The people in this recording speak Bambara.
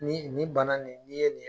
Ni nin bana nin, ni ye ni ye